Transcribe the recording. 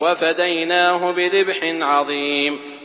وَفَدَيْنَاهُ بِذِبْحٍ عَظِيمٍ